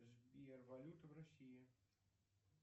сбер валюта в россии